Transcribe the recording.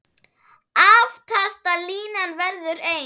Aftasta línan verður eins.